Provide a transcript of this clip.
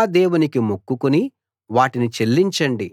మీ యెహోవా దేవునికి మొక్కుకుని వాటిని చెల్లించండి